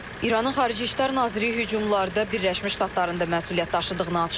İranın Xarici İşlər naziri hücumlarda Birləşmiş Ştatların da məsuliyyət daşıdığını açıqlayıb.